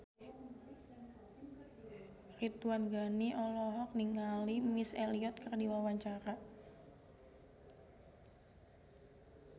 Ridwan Ghani olohok ningali Missy Elliott keur diwawancara